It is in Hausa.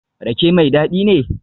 Rake mai dadi ne?